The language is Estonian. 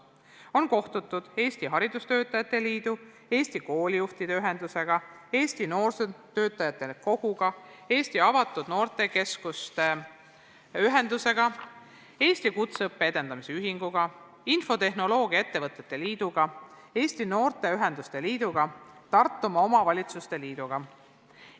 On kohtutud Eesti Haridustöötajate Liiduga, Eesti Koolijuhtide Ühendusega, Eesti Noorsootöötajate Koguga, Eesti Avatud Noortekeskuste Ühendusega, Eesti Kutseõppe Edendamise Ühinguga, infotehnoloogiaettevõtete liiduga, Eesti Noorteühenduste Liiduga ja Tartumaa Omavalitsuste Liiduga.